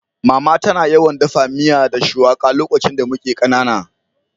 Mama tana yawan daffa miya da shuwaka lokacin da muke kanana.